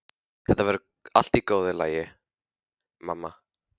Þetta verður allt í góðu lagi, mamma.